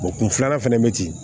kun filanan fɛnɛ bɛ ten